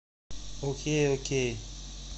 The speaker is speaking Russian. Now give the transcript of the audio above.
окей окей